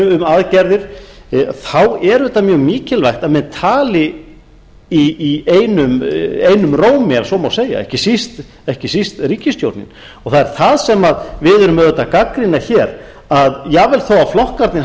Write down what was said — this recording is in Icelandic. um aðgerðir er auðvitað mjög mikilvægt að menn tali einum rómi ef svo má segja ekki síst ríkisstjórnin það er það sem við erum auðvitað að gagnrýna hér að jafnvel þó að flokkarnir